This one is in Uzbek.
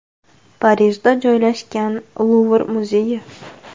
Parijda joylashgan Luvr muzeyi.